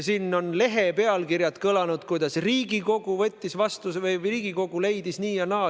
Siin on kõlanud lehepealkirjad, kuidas Riigikogu võttis vastu või Riigikogu leidis nii ja naa.